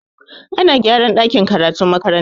Ana gyaran dakin karatun makarantar.